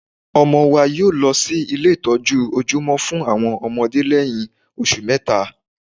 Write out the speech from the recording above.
ọmọ wa yóọ̀ lọ sí ilé ìtọ́jú ojúmọ́ fún àwọn ọmọdé lẹ́yìn oṣù mẹ́ta